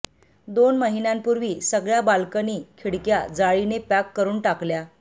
दोन महिन्यापुर्वी सगळ्या बाल्कनी खिडक्या जाळीने पॅक करुन टाकल्या